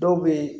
Dɔw bɛ yen